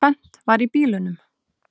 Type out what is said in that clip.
Tvennt var í bílunum.